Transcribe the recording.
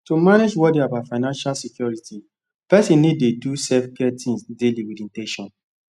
to manage worry about financial security person need dey do selfcare things daily with in ten tion